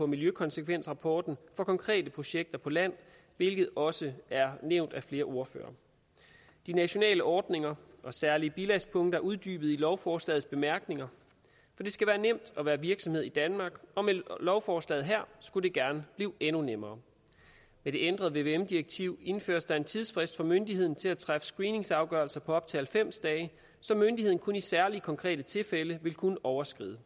miljøkonsekvensrapporten for konkrete projekter på land hvilket også er nævnt af flere ordførere de nationale ordninger og særlige bilagspunkter er uddybet i lovforslagets bemærkninger for det skal være nemt at være virksomhed i danmark og med lovforslaget her skulle det gerne blive endnu nemmere med det ændrede vvm direktiv indføres der en tidsfrist for myndigheden til at træffe screeningsafgørelser på op til halvfems dage som myndigheden kun i særlige konkrete tilfælde vil kunne overskride